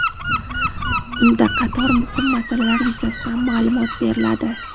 unda qator muhim masalalar yuzasidan maʼlumot beriladi.